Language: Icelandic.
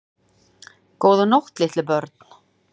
Góða nótt litlu börn.